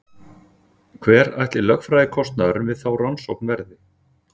Hver ætli lögfræðikostnaðurinn við þá rannsókn verði?